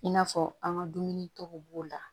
I n'a fɔ an ka dumuni tɔw b'o la